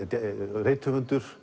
rithöfundur